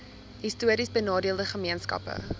histories benadeelde gemeenskappe